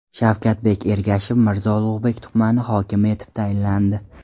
Shavkatbek Ergashev Mirzo Ulug‘bek tumani hokimi etib tayinlandi.